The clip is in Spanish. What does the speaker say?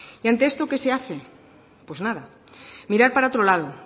y ante esto qué se hace pues nada mirar para otro lado